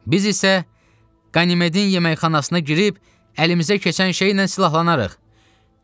Biz isə Qanimedin yeməkxanasına girib əlimizə keçən şeylə silahlanarıq.